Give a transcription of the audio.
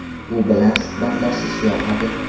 U bilan suhbatlashish yoqadi.